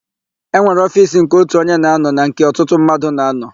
E nwere ofiisi nke ótù onye na-ánọ̀ na nke ọtụtụ mmadụ na-ánọ̀.